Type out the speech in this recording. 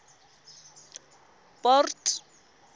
port